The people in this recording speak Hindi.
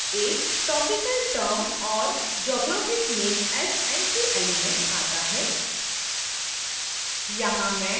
आगे subfield a topical term or geographic name as entry element आता है